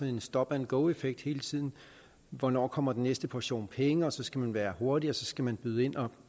en stop and go effekt hele tiden hvornår kommer den næste portion penge og så skal man være hurtig og så skal man byde ind og